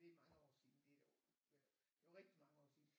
Det er mange år siden det er det var rigtig mange år siden